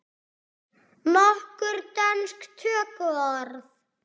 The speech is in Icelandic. Nokkur dönsk tökuorð